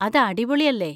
അത് അടിപൊളി അല്ലേ?